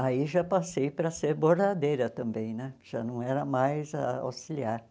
Aí já passei para ser bordadeira também né, já não era mais a auxiliar.